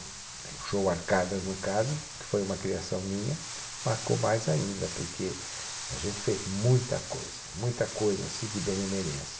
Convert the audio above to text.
O show Arcadas, no caso, que foi uma criação minha, marcou mais ainda, porque a gente fez muita coisa, muita coisa assim de benemerência.